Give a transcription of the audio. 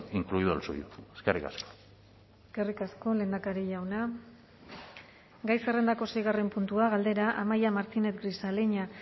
incluido el suyo eskerrik asko eskerrik asko lehendakari jauna gai zerrendako seigarren puntua galdera amaia martínez grisaleña